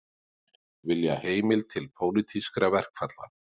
Vilja heimild til pólitískra verkfalla